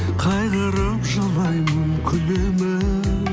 қайғырып жылаймын күлемін